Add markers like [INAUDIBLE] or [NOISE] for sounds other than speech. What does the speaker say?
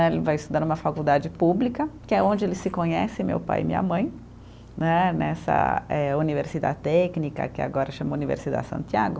[UNINTELLIGIBLE] Ele vai estudar numa faculdade pública, que é onde eles se conhecem, meu pai e minha mãe, né nessa eh, universidade técnica, que agora chama Universidade Santiago.